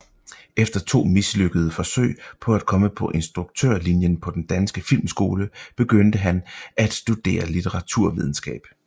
Efter to mislykkede forsøg på at komme på instruktørlinjen på Den Danske Filmskole begyndte han at studerere litteraturvidenskab